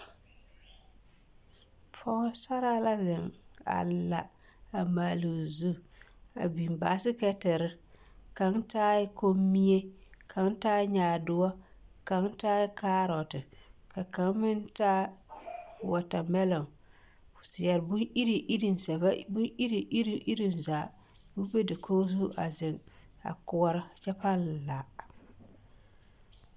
Pɔgesaraa la zeŋ a la a maale o zu a biŋ basekɛtere kaŋ taa la kommie ka kaŋ taaɛ nyaadoɔ kaŋ taaɛ kaarɔte ka kaŋ meŋ taa wɔtamelɔ zɛbon-iri iri zaa ko be dakogi zu a zeŋ kyɛ paa la.